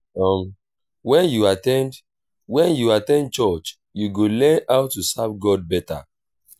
um wen yu at ten d wen yu at ten d church yu go learn how to serve god beta.